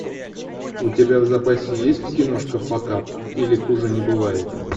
у тебя в запасе есть киношка факап или хуже не бывает